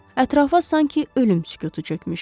Ətrafa sanki ölüm sükutu çökmüşdü.